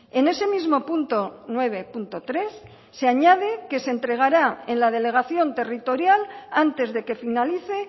en ese mismo punto nueve punto tres se añade que se entregará en la delegación territorial antes de que finalice